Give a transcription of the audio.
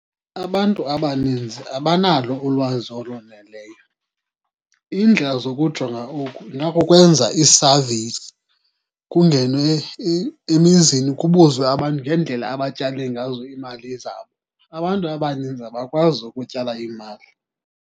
Abantu abaninzi abanalo ulwazi oloneleyo. Iindlela zokujonga oku ingakukwenza ii-surveys, kungenwe emizini kubuzwe abantu ngeendlela abatyale ngazo iimali zabo. Abantu abaninzi abakwazi ukutyala iimali.